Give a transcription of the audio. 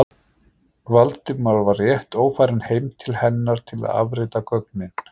Valdimar var rétt ófarinn heim til hennar til að afrita gögnin.